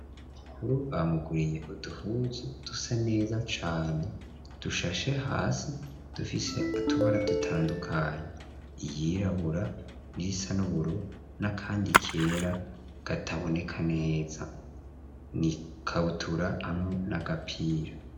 Kukuru bamuguriye uduhuzu dusa neza cane dushashe hasi dufise atubara dutandukanyi iyirabura nirisanuburo nakandi kera gataboneka neza ni kabutura hamwe n'agapira.